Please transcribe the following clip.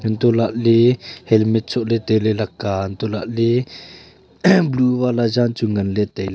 hantoh lah ley helmet soh ley tai ley lakka a hantoh lah ley blue wala jan chu ngan ley tai ley.